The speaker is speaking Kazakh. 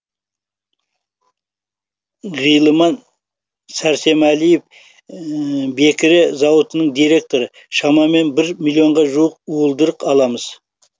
ғилыман сәрсемәлиев бекіре зауытының директоры шамамен бір миллионға жуық уылдырық аламыз